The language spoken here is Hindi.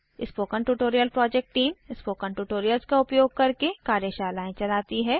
spoken tutorial project team spoken tutorials का उपयोग करके कार्यशालाएं चलाती है